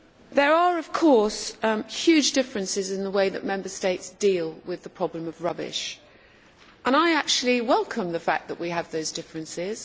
There are huge differences in the way that Member States deal with the problem of rubbish, and I actually welcome the fact that we have those differences.